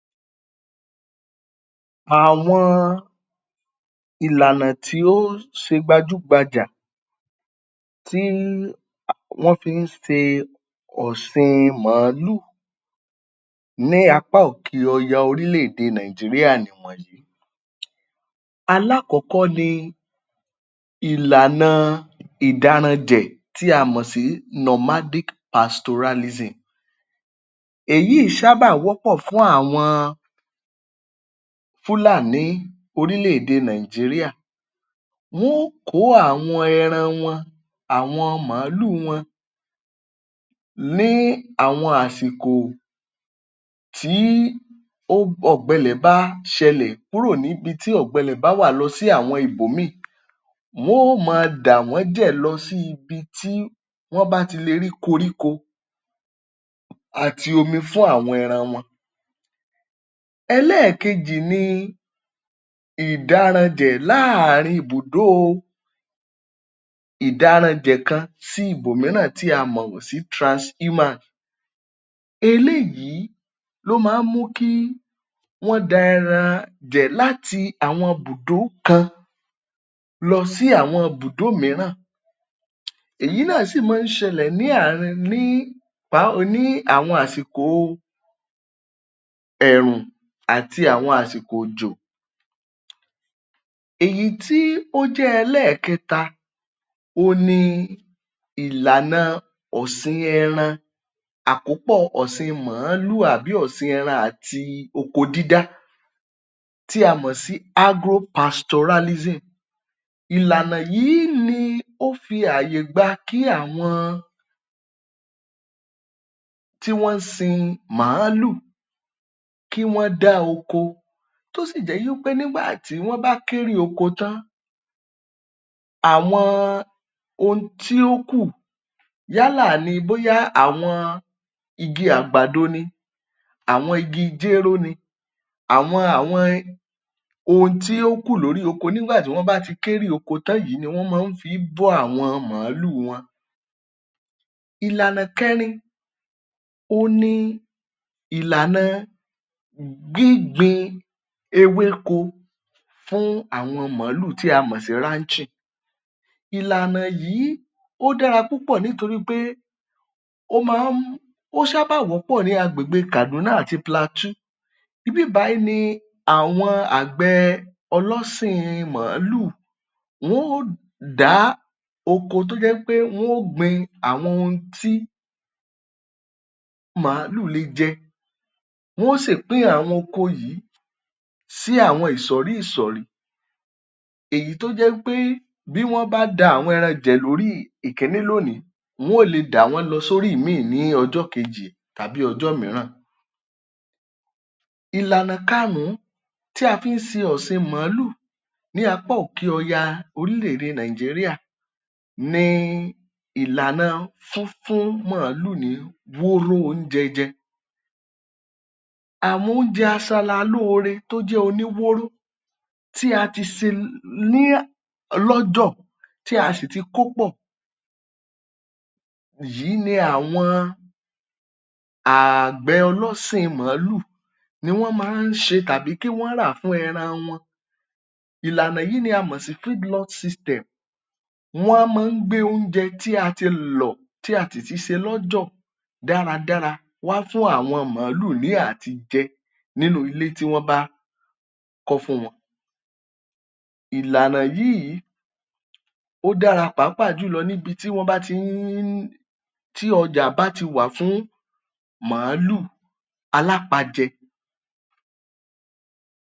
Àwọn ìlànà tí ó ṣe gbajúgbajà tí wọ́n fi ń ṣe ọ̀siin màálù ní apá òkè ọya orílẹ̀ èdè Nàìjíríà nìwọ̀nyí: Aláàkọ́kọ́ ni ìlànà Ìdáranjẹ̀ tí a mọ̀ sí ‘Nomadic Pastoralism’. Èyíì ṣábà wọ́pọ̀ fún àwọn Fúlàní orílẹ̀ èdè Nàìjíríà. Wọn óò kó àwọn ẹran wọn, àwọn màálu wọn ní àwọn àsìkò tí ó ọ̀gbẹ ilẹ̀ bá ṣẹlẹ̀ kúrò níbi tí ọ̀gbẹ ilẹ̀ bá wà lọ sí àwọn ibòmíì. Wọ́n ó máa dàwọ́n jẹ̀ lọ sí ibi tí wọ́n bá ti lè rí koríko àti omi fún àwọn ẹran wọn. Ẹlẹ́ẹ̀kejì ni ìdáranjẹ̀ láàárín ibùdó o ìdáranjẹ̀ kan sí ibòmíràn tí a mọ̀ sí ‘Transhumance’: eléyìí ló má ń mú kí wọ́n da ẹran jẹ̀ láti àwọn ibùdó kan lọ sí àwọn ibùdó mìíràn. Èyí náà sì maá ṣẹlẹ̀ ní àárín ní ní àwọn àsìko ẹ̀rùn àti ní àwọn àsìkò òjò. Èyí tí ó jẹ́ ẹlẹ́ẹ̀kẹ́ta òun ni ìlànà ọ̀sìn ẹran, àkópọ̀ ọ̀sìn màálù àbí ọ̀sìn ẹran àti oko dídá tí a mọ̀ sí ‘Agro-pastoralism’. Ìlànà yìí ni ó fi àyè gba kí àwọn tí wọ́n ń sin màálù kí wọ́n dá oko tó sì jẹ́ wípé nígbà tí wọ́n bá kérè oko tán, àwọn ohun tí ó kù yálà ní bóyá àwọn igi àgbàdo ni, àwọn igi jéró ni, àwọn àwọn um ohun tí ó kù lóri oko nígbà tí wọ́n bá ti kérè oko tán yìí ni wọ́n maá fi í bọ́ àwọn màálù wọn. Ìlànà kẹrin, òun ni ìlàna gbígbin ewéko fún àwọn màálù tí a mọ̀ sí ‘Ranching’: Ìlànà yìí, ó dáa púpọ̀ nítorí pé ó máa ń ó ṣábà wọ́pọ̀ ní agbègbè Kàdúná àti Plateau. Ibíbàyíì ni àwọn àgbẹ̀ ọlọ́sìn màálù wọ́n ò dá oko tó jẹ́ pé wọ́n ò gbin àwọn ohun tí màálù léè jẹ, wọ́n ò sì pín àwọn oko yìí sí àwọn ìsọ̀rí ìsọ̀rí, èyí tó jẹ́ wípé bí wọ́n bá da àwọn ẹran jẹ̀ lórí ìkíní lónìí, wọ́n ó lè dàwọ́n lọ sórí ìímì ní ọjọ́ kejì tàbí ọjọ́ mìíràn. Ìlànà karùn-ún tí a fi ń ṣe ọ̀sìn màálù ní apá òkè ọya orílẹ̀ èdè Nàìjíríà ni ìlànà fúnfún màálù ní wóóró oúnjẹ jẹ. Àwọn oúnjẹ aṣaralóore tó jẹ́ oníwóóró tí a tí se ni lọ́jọ̀, tí a sì ti kó pọ̀ yìí ni àwọn ààgbẹ̀ ọlọ́sìn màálù ni wọ́n ma ń ṣe tàbí kí wọ́n rà fún ẹran wọn. Ìlànà yìí ni a mọ̀ sì system. Wọ́n máa ń gbé oúnje tí a ti lọ̀ tí a sì ti ṣe lọ́jọ̀ dáradára wá fún àwọn màálù ní àtijẹ nínú ilé tí wọ́n bá kọ́ fún wọn. Ìlànà yìí ó dára pàápàá jùlọ ní ibi tí wọ́n bá ti ń um tí ọjà bá ti wà fún màálù alápajẹ.